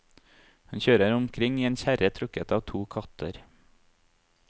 Hun kjører omkring i en kjerre trukket av to katter.